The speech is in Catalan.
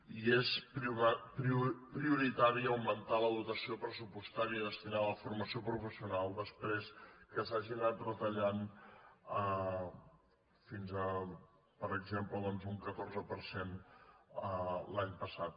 i és prioritari aug·mentar la dotació pressupostària destinada a la forma·ció professional després que s’hagi anat retallant fins a per exemple un catorze per cent l’any passat